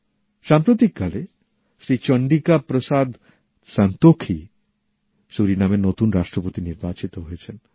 সাম্প্রতিককালে শ্রী চন্দ্রিকা প্রসাদ সন্তোখী সুরিনামের নতুন রাষ্ট্রপতি নির্বাচিত হয়েছেন